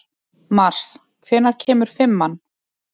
Mars, hvenær kemur fimman?